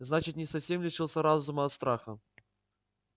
значит не совсем лишился разума от страха